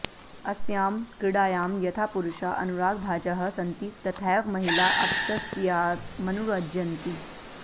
अस्यां क्रीडायां यथा पुरुषा अनुराग्भाजः सन्ति तथैव महिला अप्यस्यामनुरज्यन्ति